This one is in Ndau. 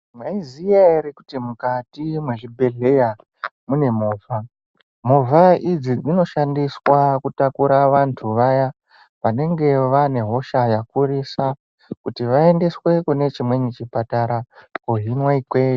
Mwaiziya ere kuti mukati mwezvibhedhleya mune movha, movha idzi dzinoshanda kutakura vantu vaya vanenge vane hosha yakurisa kuti vaendeswa kune chimweni chipatara kohinwa ikweyo.